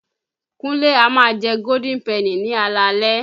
Kúnlé a má a jẹ Golden Penny ní alaalẹ́.